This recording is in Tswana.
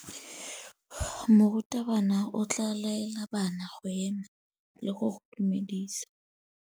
Morutabana o tla laela bana go ema le go go dumedisa.